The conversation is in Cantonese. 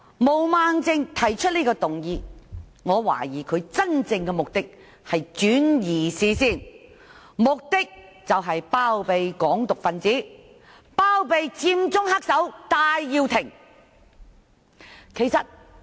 毛孟靜議員提出此項議案，我懷疑其真正目的是要轉移視線，包庇"港獨"分子及佔中黑手戴耀廷。